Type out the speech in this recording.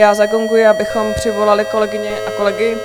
Já zagonguji, abychom přivolali kolegyně a kolegy.